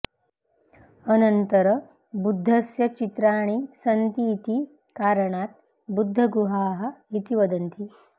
अनन्तर बुद्धस्य चित्राणि सन्तीति कारणात् बुद्धगुहाः इति वदन्ति